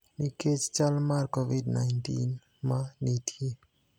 nikech chal mar Covid-19 ma nitie.